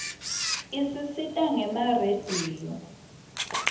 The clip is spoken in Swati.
isisita gema rediyo